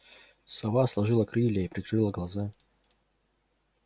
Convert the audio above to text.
сова сложила крылья и прикрыла глаза